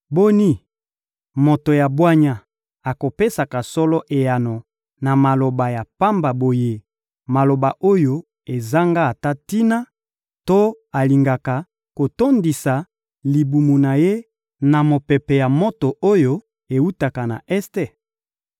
«Boni, moto ya bwanya akopesaka solo eyano na maloba ya pamba boye, maloba oyo ezanga ata tina, to alingaka kotondisa libumu na ye na mopepe ya moto oyo ewutaka na Este?